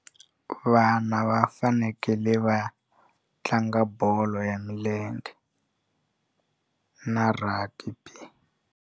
Vana va fanekele va tlanga bolo ya milenge na rugby.